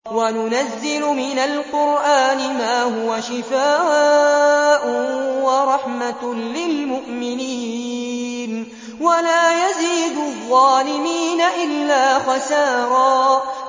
وَنُنَزِّلُ مِنَ الْقُرْآنِ مَا هُوَ شِفَاءٌ وَرَحْمَةٌ لِّلْمُؤْمِنِينَ ۙ وَلَا يَزِيدُ الظَّالِمِينَ إِلَّا خَسَارًا